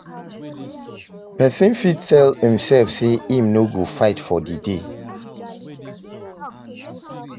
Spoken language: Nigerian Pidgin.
Persin fit tell imself say im no go fight for di day